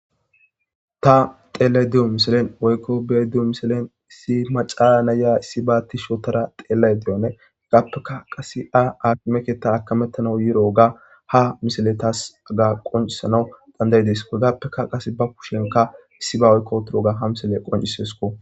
Taa xelayidda diyo missilenni woyikko be'ayidda diyo missilenni issi maca na'iya issibba tishshi oththada xelayidda diyobane hegappe qasekka akime keththa akametanne bidogane hegappekka qasekka issibba tishshi oththada xeliyoba be'isskko.